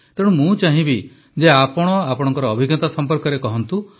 ତେଣୁ ମୁଁ ଚାହିଁବି ଯେ ଆପଣ ଆପଣଙ୍କ ଅଭିଜ୍ଞତା ସଂପର୍କରେ କହନ୍ତୁ